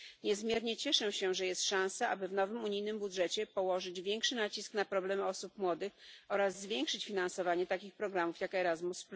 Niezmiernie cieszę się, że jest szansa, aby w nowym unijnym budżecie położyć większy nacisk na problemy osób młodych oraz zwiększyć finansowanie takich programów jak Erasmus.